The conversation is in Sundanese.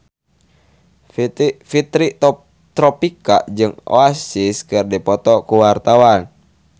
Fitri Tropika jeung Oasis keur dipoto ku wartawan